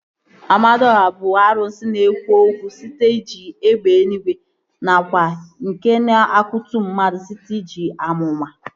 Amadiọha bụ arụsị na-ekwu okwu site n'iji egbe eluigwe nakwa nke na-akutu mmadụ site n'iji amụma